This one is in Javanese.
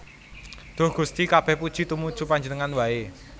Duh Gusti kabèh puji tumuju Panjenengan waé